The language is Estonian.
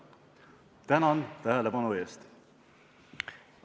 Tänan tähelepanu eest!